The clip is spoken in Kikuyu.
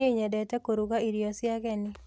Nie nyendete kũruga irio cia ageni.